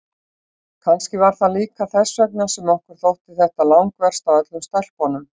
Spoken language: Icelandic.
Kannski var það líka þess vegna sem okkur þótti þetta langverst af öllum stelpunum.